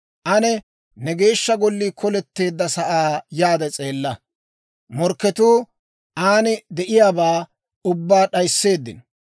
Ane ne Geeshsha Gollii koleteedda sa'aa yaade s'eella. Morkketuu aani de'iyaabaa ubbaa d'aysseeddino.